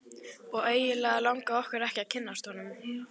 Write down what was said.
Og eiginlega langaði okkur ekki að kynnast honum.